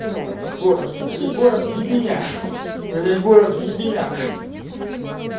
ну это город или город ебеня иили город в ебенях